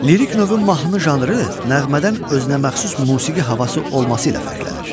Lirik növün mahnı janrı nəğmədən özünəməxsus musiqi havası olması ilə fərqlənir.